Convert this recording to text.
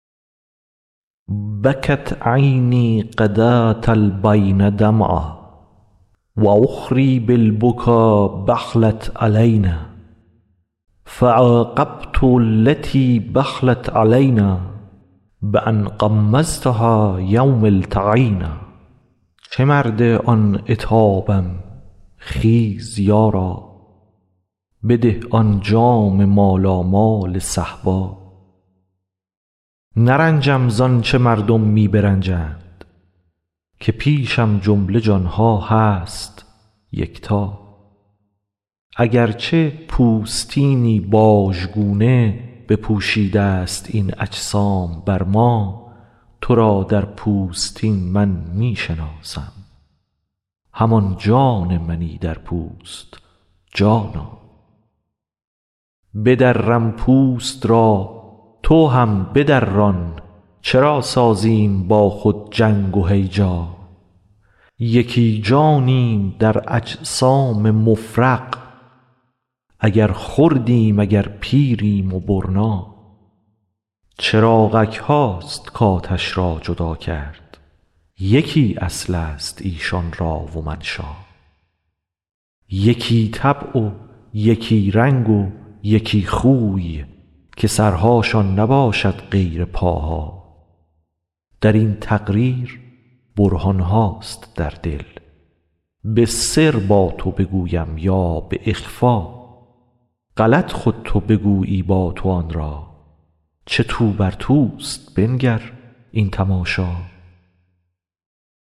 بکت عینی غداه البین دمعا و اخری بالبکا بخلت علینا فعاقبت التی بخلت علینا بان غمضتها یوم التقینا چه مرد آن عتابم خیز یارا بده آن جام مالامال صهبا نرنجم ز آنچ مردم می برنجند که پیشم جمله جان ها هست یکتا اگر چه پوستینی بازگونه بپوشیده ست این اجسام بر ما تو را در پوستین من می شناسم همان جان منی در پوست جانا بدرم پوست را تو هم بدران چرا سازیم با خود جنگ و هیجا یکی جانیم در اجسام مفرق اگر خردیم اگر پیریم و برنا چراغک هاست کآتش را جدا کرد یکی اصل است ایشان را و منشا یکی طبع و یکی رنگ و یکی خوی که سرهاشان نباشد غیر پاها در این تقریر برهان هاست در دل به سر با تو بگویم یا به اخفا غلط خود تو بگویی با تو آن را چه تو بر توست بنگر این تماشا